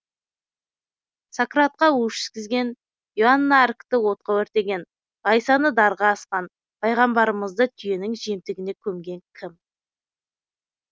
сократқа у ішкізген иоанна аркті отқа өртеген ғайсаны дарға асқан пайғамбарымызды түйенің жемтігіне көмген кім